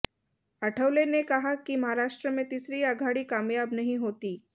आठवले ने कहा कि महाराष्ट्र में तीसरी आघाड़ी कामयाब नहीं होती